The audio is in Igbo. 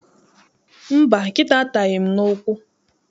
Mba, nkịta ataghị m n'ụkwụ.